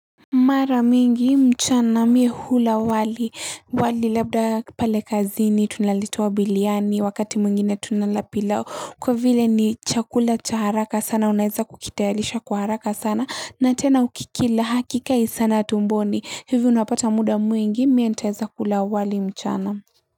Mara mingi mchana mie hula wali wali labda pale kazini tunalitoa biliani, wakati mwingine tunala pilau kwa vile ni chakula cha haraka sana, unaweza kukitayarisha kwa haraka sana na tena ukikila hakikai sana tumboni, hivi unapata muda mwingi. Mie ntaweza kula wali mchana.